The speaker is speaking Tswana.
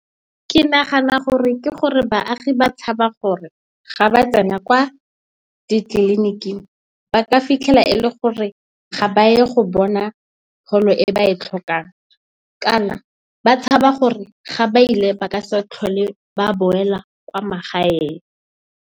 Ke nagana gore ke gore baagi ba tshaba gore ga ba tsena kwa ditleliniking ba ka fitlhela e le gore ga ba ye go bona pholo e ba e tlhokang. Kana, ba tshaba gore ga ba ile ba ka se tlhole ba boela kwa magaeng.